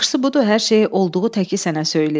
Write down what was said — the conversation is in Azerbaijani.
Yaxşısı budur hər şeyi olduğu təki sənə söyləyim.